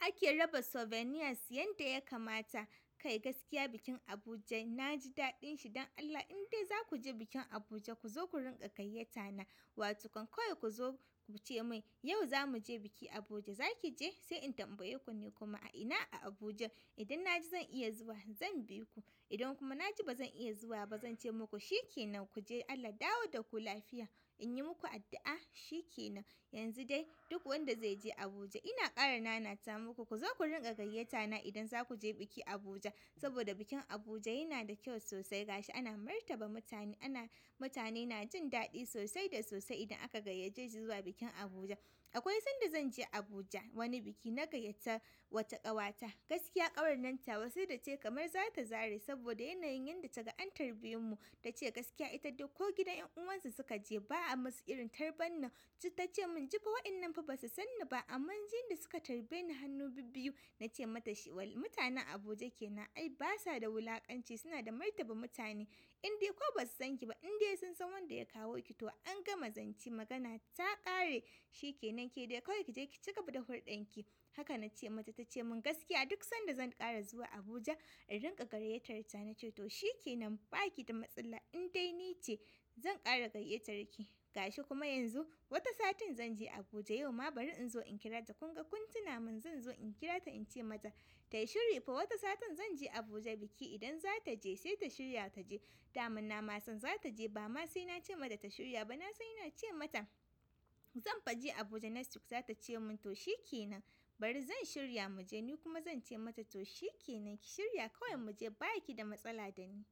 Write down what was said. Ake raba souvenirs yanda ya kamata. Kai gaskiya bikin Abuja na ji daɗin shi don Allah indai za ku je bikin Abuja ku zo ku rinƙa gayyata na wato kawai ku zo ku ce min yau za mu je biki Abuja za ki je? Sai in tambaye ku ni kuma a ina a Abuja? In na ji zan iya zuwa zan bi ku. Idan kuma na ji bazan iya zuwa ba zan ce muku shikenan ku je Allah ya dawo da ku lafiya in yi muku addu'a shikenan. Yanzu dai duk wanda zai je Abuja ina ƙara nanata muku ku zo ku rinƙa gayyata na idan za ku je biki Abuja saboda bikin Abuja yana da kyau sosai ga shi ana martaba mutane ana mutane na jin daɗi sosai da sosai idan aka gayyace su zuwa bikin Abuja. Akwai sanda zan je Abuja wani biki na gayyata wata ƙawata gaskiya ƙawar nan tawa sai da tayi kamar za ta zare saboda yanayin yadda ta ga an tarbe mu tace gaskiya ita dai ko gidan ƴan uwan su suka je ba'a masu irin tarban nan. Ta ce mun jifa wa'innan fa basu sanni ba amma jin yanda suka tarbe ni hannu bibbiyu. Na ce mata shi wal mutanen Abuja kenan ai basa da wulakanci suna da martaba mutane indai ko basu san ki ba indai sun san wanda ya kawo ki to an gama zance magana ta ƙare shikenan kedai kawai ki je ki cigaba da hulɗar ki. Haka na ce mata ta ce mun gaskiya duk sanda zan ƙara zuwa Abuja in rinƙa gayyatarta na ce to shikenan ba ki da matsala indai ni ce zan ƙara gayyatar ki. Ga shi kuma yanzu wata satin zan je Abuja yau ma bari in zo in kirata kun ga kun tuna mun zan zo in kirata in ce mata ta shirya fa wata satin zan je Abuja biki idan za ta je sai ta shirya ta je. Daman na ma san za ta je ba ma sai na ce mata ta shirya ba na sai ina ce mata zan faje Abuja next week za ta ce mun to shikenan bari zan shirya mu je ni kuma zan ce mata to shikenan ki shirya kawai mu je ba ki da matsala da ni.